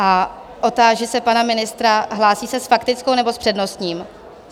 A otáži se pana ministra, hlásí se s faktickou, nebo s přednostním?